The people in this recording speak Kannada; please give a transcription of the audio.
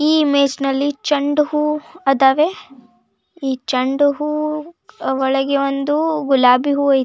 ಈ ಇಮೇಜ್ನಲ್ಲಿ ಚೆಂಡು ಹೂವು ಅದವೇ ಈ ಚೆಂಡು ಹೂ ಒಳಗೆ ಒಂದು ಗುಲಾಬಿ ಹೂವು ಇ--